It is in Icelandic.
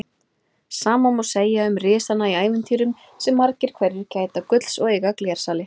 Sama má segja um risana í ævintýrum sem margir hverjir gæta gulls og eiga glersali.